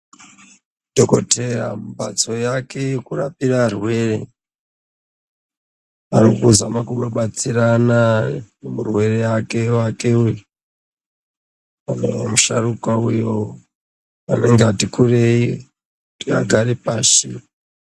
Dhokodheya mhatso yake yekurapire arwere achizame kubatsirana nemurwere wake anenge musharukwa ati kurei kuti agare pashi.